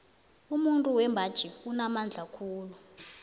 umuntu wembaji unamandla khulu